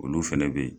Olu fɛnɛ be yen